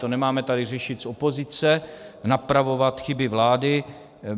To nemáme tady řešit z opozice, napravovat chyby vlády.